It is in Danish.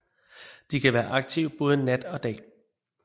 De kan være aktive både nat og dag